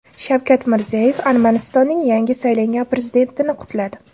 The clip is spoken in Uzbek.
Shavkat Mirziyoyev Armanistonning yangi saylangan prezidentini qutladi.